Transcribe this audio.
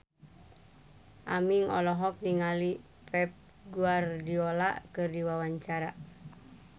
Aming olohok ningali Pep Guardiola keur diwawancara